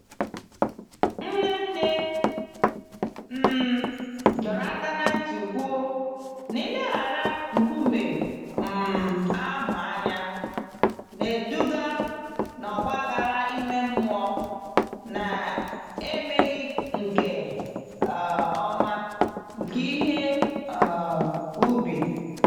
Nne nne m dọrọ aka ná ntị kwuo, n'ileghara nkume um ahụ anya na-eduga n'ọgba aghara ime mmụọ na emeghị nke um ọma nke ihe um ubi.